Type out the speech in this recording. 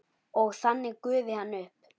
Og þannig gufi hann upp?